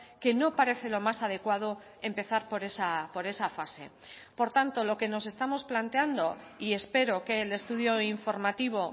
que no parece lo más adecuado empezar por esa fase por tanto lo que nos estamos planteando y espero que el estudio informativo